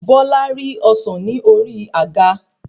Bola rí ọsán ni ori àga